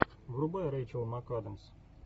врубай рейчел макадамс